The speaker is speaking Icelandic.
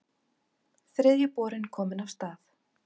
Þriðji borinn kominn af stað